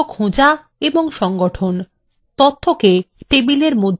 তথ্যকে টেবিলের মধ্যে বিভক্ত করা